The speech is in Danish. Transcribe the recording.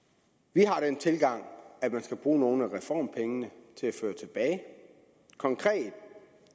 vi har den tilgang at man skal bruge nogle af reformpengene til at føre tilbage konkret